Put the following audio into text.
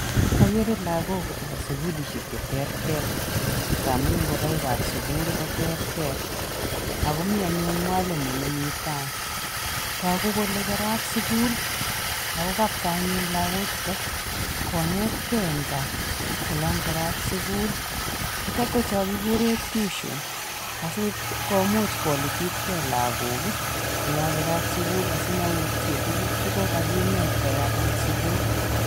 Akere lagok chepo sukulishek cheterter nka amun ngoroikap sukul koterter, ako mi anyun mwalimo nemi tai . Toku kole kerat sukul ako anyun lakochuto konetkei eng kaa olokerat sukul. chutok ko chokikure tuition Asikomuch kolititkei lagok olokerat sukul asimoutye tuguk chekokakikinet koyatat sikul.